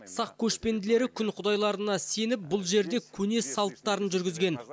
сақ көшпенділері күн құдайларына сеніп бұл жерде көне салттарын жүргізген